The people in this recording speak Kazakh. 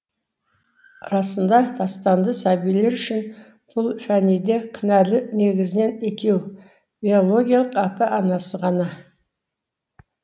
расында тастанды сәбилер үшін бұл фәниде кінәлі негізінен екеу биологиялық ата анасы ғана